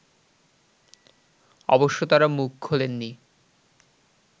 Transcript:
অবশ্য তারা মুখ খোলেননি